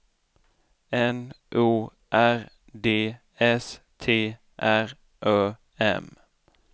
N O R D S T R Ö M